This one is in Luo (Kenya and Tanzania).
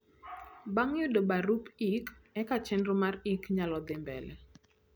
bang yudo barup ik eka chenro mar ik nyalo dhi mbele